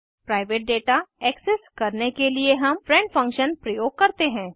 private data access करने के लिए हम फ्रेंड फंक्शन प्रयोग करते हैं